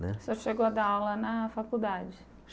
Né Você chegou a dar aula na faculdade?